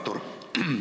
Hea Artur!